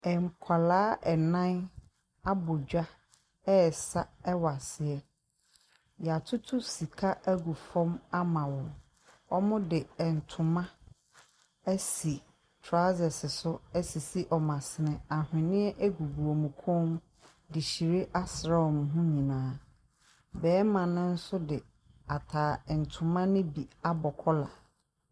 Nkwadaa nnan abɔ dwa resa wɔ aseɛ. Wɔatoto sika agu fam ama wɔn. Wɔde ntoma asi trousers to asisi wɔn asene. Ahweneɛ gu wɔn kɔn mu de hyire asra wɔn ho nyinaa. Barima no nso de ata ntoma no mu abɔ kɔla.